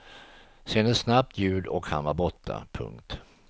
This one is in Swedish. Sen ett snabbt ljud och han var borta. punkt